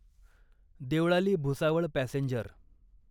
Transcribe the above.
Deolali Bhusawal passenger